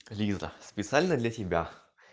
лиза специально для тебя